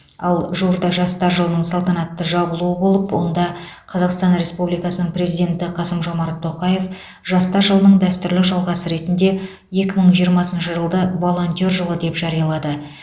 ал жуырда жастар жылының салтанатты жабылуы болып онда қазақстан республикасының президенті қасым жомарт тоқаев жастар жылының дәстүрлі жалғасы ретінде екі мың жиырмасыншы жылды волонтер жылы деп жариялады